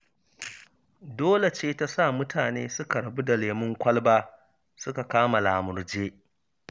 Dole ce ta sa mutane suka rabu da lemon kwalba, suka kama lamurje.